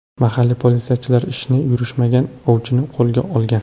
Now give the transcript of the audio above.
Mahalliy politsiyachilar ishi yurishmagan ovchini qo‘lgan olgan.